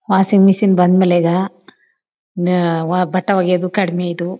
Washing machine ಬಂದ್ಮೇಲೆ ಈಗ ಆಅ ಬಟ್ಟೆ ಹೋಗಿಯೋದು ಕಾಡಮಿಯಿದು.